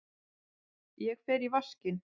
Ég fer í vaskinn.